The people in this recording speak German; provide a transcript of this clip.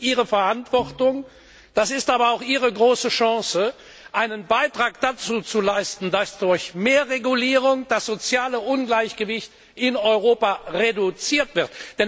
Das ist Ihre Verantwortung, das ist aber auch Ihre große Chance, einen Beitrag dazu zu leisten, dass durch mehr Regulierung das soziale Ungleichgewicht in Europa reduziert wird.